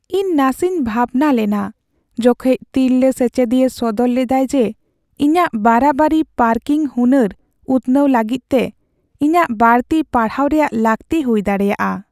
ᱤᱧ ᱱᱟᱥᱮᱧ ᱵᱷᱟᱵᱽᱱᱟ ᱞᱮᱱᱟ ᱡᱚᱠᱷᱮᱡ ᱛᱤᱨᱞᱟᱹ ᱥᱮᱪᱮᱫᱤᱭᱟᱹ ᱥᱚᱫᱚᱨ ᱞᱮᱫᱟᱭ ᱡᱮ ᱤᱧᱟᱹᱜ ᱵᱟᱨᱟᱵᱟᱨᱤ ᱯᱟᱨᱠᱤᱝ ᱦᱩᱱᱟᱹᱨ ᱩᱛᱱᱟᱹᱣ ᱞᱟᱹᱜᱤᱫ ᱛᱮ ᱤᱧᱟᱹᱜ ᱵᱟᱹᱲᱛᱤ ᱯᱟᱲᱦᱟᱣ ᱨᱮᱭᱟᱜ ᱞᱟᱹᱠᱛᱤ ᱦᱩᱭ ᱫᱟᱲᱮᱭᱟᱜᱼᱟ ᱾